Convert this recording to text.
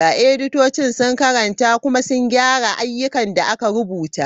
Editocin sun karanta kuma sun gyara ayyukan da aka rubuta.